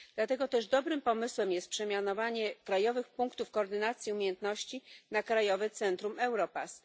Dlatego też dobrym pomysłem jest przemianowanie krajowych punktów koordynacji umiejętności na Krajowe Centra Europass.